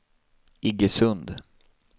Iggesund